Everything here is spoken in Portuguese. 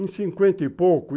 Em cinquenta e pouco?